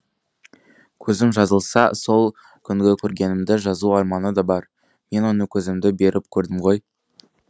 көзім жазылса сол күнгі көргенімді жазу арманы да бар мен оны көзімді беріп көрдім ғой